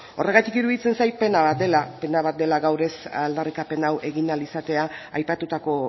horregatik iruditzen zait pena bat dela gaur aldarrikapen hau egin ahal izatea aipatutako